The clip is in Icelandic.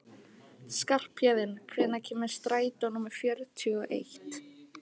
Skarphéðinn, hvenær kemur strætó númer fjörutíu og eitt?